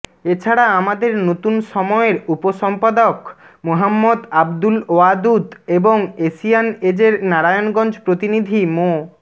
এ ছাড়া আমাদের নতুন সময়ের উপসম্পাদক মোহাম্মদ আবদুল ওয়াদুদ এবং এশিয়ান এজের নারায়ণগঞ্জ প্রতিনিধি মো